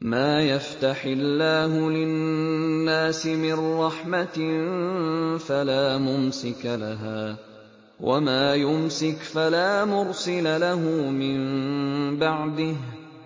مَّا يَفْتَحِ اللَّهُ لِلنَّاسِ مِن رَّحْمَةٍ فَلَا مُمْسِكَ لَهَا ۖ وَمَا يُمْسِكْ فَلَا مُرْسِلَ لَهُ مِن بَعْدِهِ ۚ